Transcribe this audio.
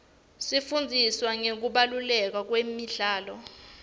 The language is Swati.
sifundziswa ngekubaluleka kwemidlalo